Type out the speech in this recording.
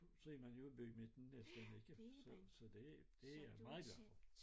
Så er man jo i bymidten næsten ikke så så det det jeg meget glad for